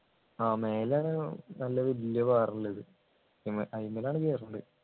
ആഹ് മേലെ നല്ല വല്യ പാറള്ളത് ഇവൻ ഐമ്മിലാണു കേരല്